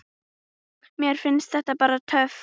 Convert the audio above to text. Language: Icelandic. Mér finnst það bara töff.